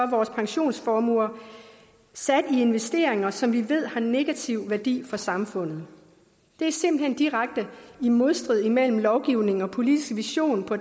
vores pensionsformuer sat i investeringer som vi ved har negativ værdi for samfundet der er simpelt hen direkte modstrid mellem lovgivning og politisk vision på